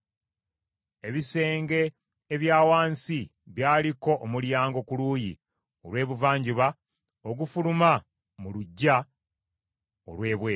Ebisenge ebya wansi byaliko omulyango ku luuyi olw’ebuvanjuba ogufuluma mu luggya olw’ebweru.